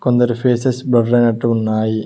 కొందరి faces blur అయినట్లు ఉన్నాయి.